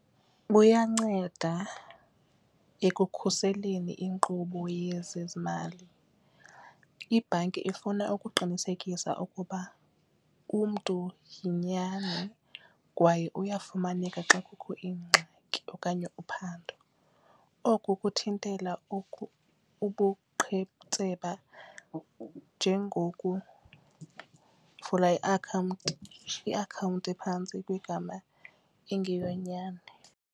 Buyanceda ekukhuseleni inkqubo yezezimali, ibhanki ifuna ukuqinisekisa ukuba umntu yinyani kwaye uyafumaneka xa kukho ingxaki okanye uphando. Oku kuthintela ubuqhetseba njengokuvula iakhawunti iakhawunti ephantsi kwegama engeyonyani.